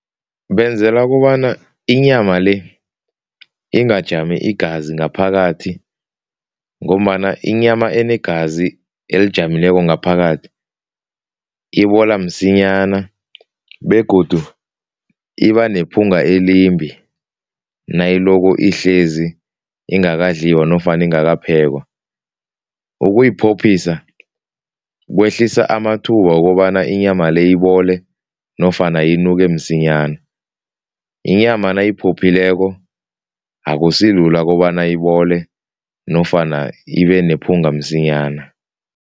Benzelwa kobana inyama le ingajami igazi ngaphakathi ngombana inyama enegazi elijameleko ngaphakathi ibola msinyana begodu ibanephunga elimbi nayiloko ihlezi ingakadliwa nofana ingakaphekwa. Ukuyiphophisa kwehlisa amathuba wokobana inyama le ibole nofana inuke msinyana, inyama nayiphophileko akusilula kobana ibole nofana ibenephunga msinyana.